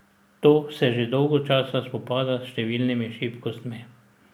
To se že dolgo časa spopada s številnimi šibkostmi.